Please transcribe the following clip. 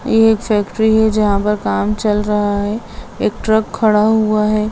ये एक फैक्टरी है जहाँ पर काम चल रहा है | एक ट्रक खड़ा हुवा है।